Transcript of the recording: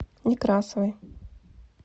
некрасовой